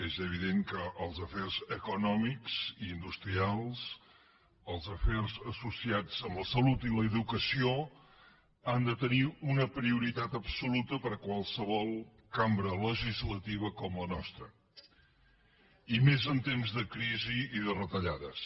és evident que els afers econòmics i industrials els afers associats amb la salut i l’educació han de tenir una prioritat absoluta per a qualsevol cambra legislativa com la nostra i més en temps de crisi i de retallades